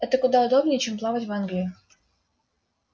это куда удобнее чем плавать в англию